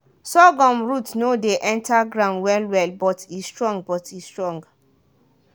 sorghum root no dey enter ground well-well but e strong. but e strong.